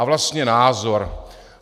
A vlastně názor?